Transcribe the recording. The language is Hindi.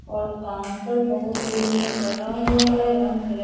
और काउंटर बहुत दूर में बना हुआ है रंग-बिरंग --